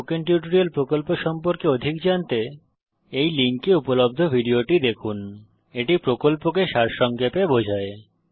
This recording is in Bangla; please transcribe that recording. স্পোকেন টিউটোরিয়াল প্রকল্প সম্পর্কে অধিক জানতে এই লিঙ্কে উপলব্ধ ভিডিওটি দেখুন এটি প্রকল্পকে সারসংক্ষেপে বোঝায়